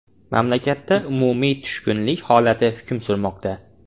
Mamlakatda umumiy tushkunlik holati hukm surmoqda.